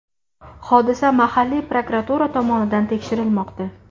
Hodisa mahalliy prokuratura tomonidan tekshirilmoqda.